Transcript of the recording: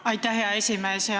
Aitäh, hea esimees!